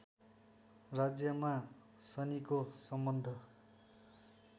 राज्यमा शनिको सम्बन्ध